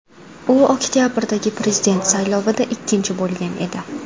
U oktabrdagi prezident saylovida ikkinchi bo‘lgan edi.